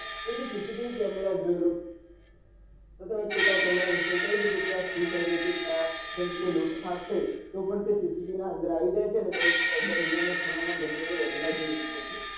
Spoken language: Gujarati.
જેમકે સીસીટીવી કેમેરા જોયી લો હું તમને કેટલા કેમેરા ઇન્સ્ટોલ કરી દઉ છું ક્યાં સુ થઈ રહ્યું છે ક્યાં જેમકે લુંટ ફાટશે તો પન તે સીસીટીવી ના અંદર આવી જાય છે અને દુનિયા ના ખુના ગમે ત્યાં જોયી શકો છો